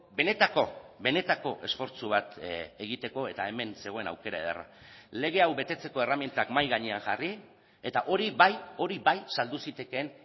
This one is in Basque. benetako benetako esfortzu bat egiteko eta hemen zegoen aukera ederra lege hau betetzeko erremintak mahai gainean jarri eta hori bai hori bai saldu zitekeen